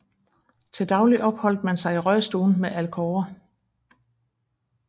Til daglig opholdt man sig i røgstuen med alkover